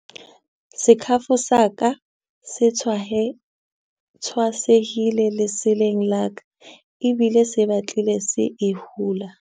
Sekhafo sa ka se tshwasehile lesaleng la ka ebile se batlile se e hula.